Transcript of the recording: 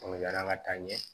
yala ka taa ɲɛ